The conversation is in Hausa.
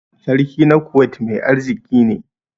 Sarki na Kuwait mai arziki ne.